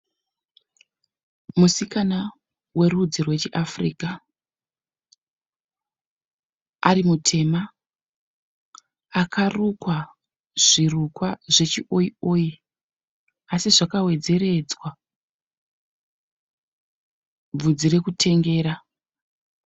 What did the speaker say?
Musikana werudzi rwechiAfrica ari mutema. Akarukwa zvirukwa zvechioyi oyi asi zvakawedzeredzwa bvudzi rekutengera.